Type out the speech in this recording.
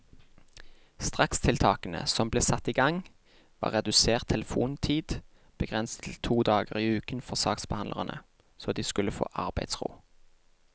Strakstiltakene som ble satt i gang, var redusert telefontid begrenset til to dager i uken for saksbehandlerne, så de skulle få arbeidsro.